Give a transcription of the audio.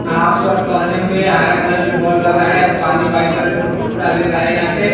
Half shirt पहने हुए हरा कलर के बॉल भर रहा है और पानी वाइट कलर फुर फुरा दे रहा है यहां पे।